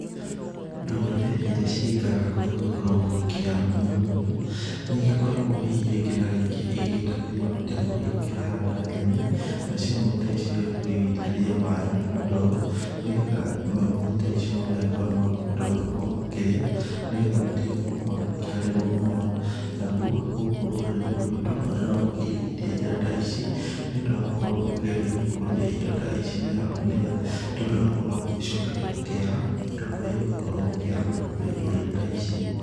Ndũrĩrĩ iria cigĩkoragwo cigĩikara kũrĩa gũkoragwo gũkĩara mũno mũno, nĩ igĩkoragwo hihi rĩngĩ na rĩngĩ igíĩgĩtegũria mategũ. Igakĩhanda nyeni, nacio nyeni ta ici nĩ igĩkoragwo igĩitĩriria maaĩ na ndoo. Nĩ getha manyeni ta ici nĩ magũkorwo makihota gũgĩkorwo makĩrĩa, nĩ getha matige gũkorwo magĩkĩarĩrwo mũno. Naguo gũkũ rũrĩrĩ-inĩ ruitũ andũ no makĩiyũkĩtie njĩra ta ici nĩ ũndũ wa gũkorwo makĩgeria gũkũria indo ta ici na nĩ getha, tondũ nakuo nĩ gũcokete gũkĩara ta kũrĩa gũgĩkoragwo gũkiara kũrĩ ndũrĩrĩ ta ici.